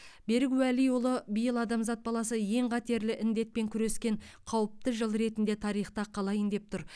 берік уәлиұлы биыл адамзат баласы ең қатерлі індетпен күрескен қауіпті жыл ретінде тарихта қалайын деп тұр